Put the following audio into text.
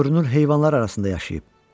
Görünür heyvanlar arasında yaşayıb.